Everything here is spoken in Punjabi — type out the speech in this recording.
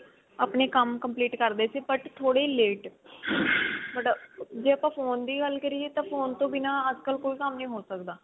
ਆਪਣੇ ਕੰਮ complete ਕਰਦੇ ਸੀ but ਥੋੜੀ late but ਜੇ ਆਪਾਂ phone ਦੀ ਗੱਲ ਕਰੀਏ ਤਾਂ phone ਤੋਂ ਬਿਨਾ ਅੱਜਕਲ ਕੋਈ ਕੰਮ ਨੀ ਹੋ ਸਕਦਾ